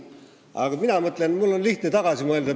Aga mul on lihtne tagasi mõelda.